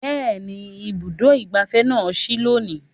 Bẹ́ẹ̀ni, Ibùdó ìgbáfẹ́ na sí lónìí